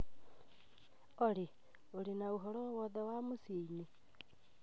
Olly ũrĩ na ũhoro owothe wa mũciĩ-inĩ